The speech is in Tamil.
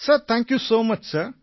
thank you sir